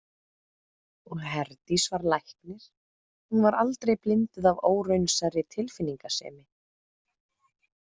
Og Herdís var læknir, hún var aldrei blinduð af óraunsærri tilfinningasemi.